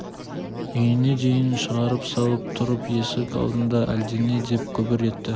үйіне дейін шығарып салып тұрып есік алдында әлдене деп күбір етті